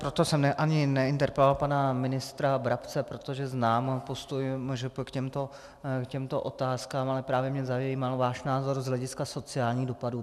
Proto jsem ani neinterpeloval pana ministra Brabce, protože znám postoj MŽP k těmto otázkám, ale právě mě zajímal váš názor z hlediska sociálních dopadů.